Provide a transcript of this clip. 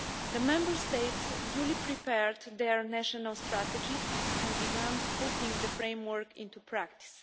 The Member States duly prepared their national strategies and began putting the framework into practice.